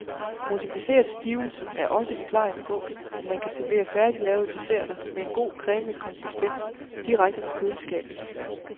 Modificeret stivelse er også forklaringen på, at man kan servere færdiglavede desserter, med en god cremet konsistens, direkte fra køleskabet.